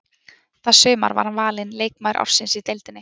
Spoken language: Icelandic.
Það sumar var hann valinn leikmaður ársins í deildinni.